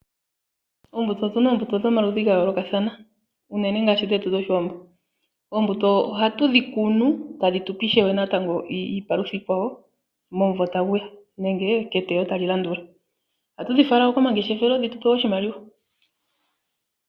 Ombuto, otuna oombuto dhomaludhi gayolokathana. Unene ngaashi dhetu dhoshiwambo. Oombuto ohatu dhi kunu tadhi tupe ishewe natango iipalutha iikwawo momumvo tagu ya nenge keteyo tali landula. Ohatu dhi fala wo komangeshefelo dhitupe oshimaliwa